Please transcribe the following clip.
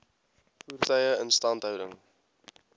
voertuie instandhouding